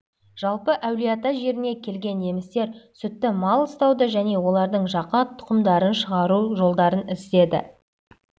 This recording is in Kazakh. жалпы әулиеата жеріне келген немістер сүтті мал ұстауды және олардың жаңа тұқымдарын шығару жолдарын іздеді